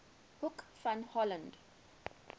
hoek van holland